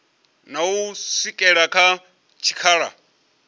na u swikela kha tshikhala